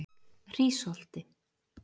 Hrísholti